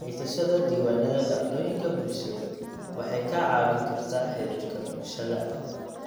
Haysashada diiwaannada dhacdooyinka bulsheed waxay kaa caawin kartaa xidhiidhka bulshada.